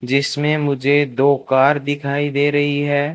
जिसमें मुझे दो कार दिखाई दे रही है।